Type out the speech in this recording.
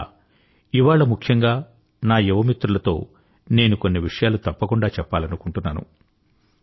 అందువల్ల ఇవాళ ముఖ్యంగా నా యువ మిత్రులతో నేను కొన్ని విషయాలు తప్పకుండా చెప్పాలనుకుంటున్నాను